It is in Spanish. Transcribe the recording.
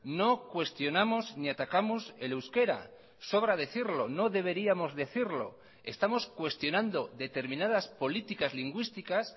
no cuestionamos ni atacamos el euskera sobra decirlo no deberíamos decirlo estamos cuestionando determinadas políticas lingüísticas